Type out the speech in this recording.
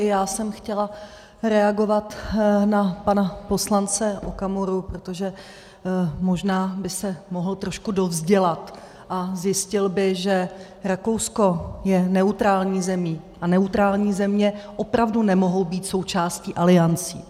I já jsem chtěla reagovat na pana poslance Okamuru, protože možná by se mohl trošku dovzdělat a zjistil by, že Rakousko je neutrální zemí a neutrální země opravdu nemohou být součástí aliancí.